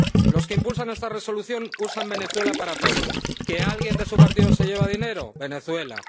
Los que impulsan esta Resolución usan Venezuela para todo. Que alguien de su partido se lleva dinero, Venezuela